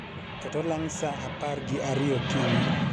ket olang' saa apar gi ariyo okinyi